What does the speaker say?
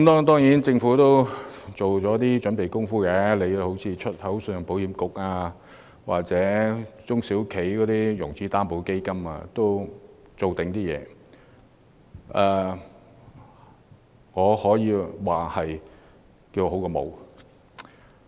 當然，政府也做了一些準備工夫，例如推出關乎香港出口信用保險局或中小企融資擔保計劃等措施，可說是聊勝於無。